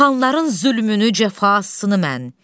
Xanların zülmünü cəfasını mən.